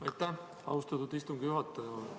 Aitäh, austatud istungi juhataja!